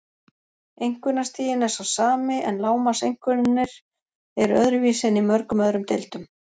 Einkunnastiginn er sá sami en lágmarkseinkunnir eru öðruvísi en í mörgum öðrum deildum.